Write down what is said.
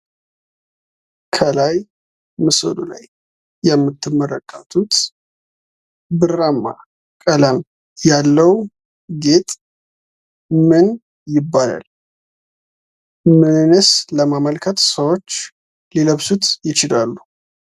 ከላይ ምስሉ ላይ የምትመለከቱት ብራማ ቀለም ያለው ጌጥ ምን ይባላል? ምንስ ለማመልከት ሰዎች ሊለብሱት ይችላሉ?